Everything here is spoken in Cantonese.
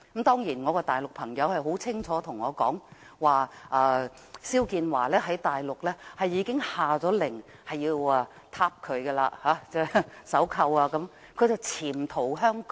當然，我的大陸朋友清楚告訴我，大陸已下令要把肖建華抓回去，甚至要鎖上手銬，而他只是潛逃香港。